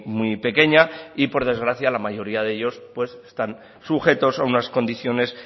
muy pequeña y por desgracia la mayoría de ellos pues están sujetos a unas condiciones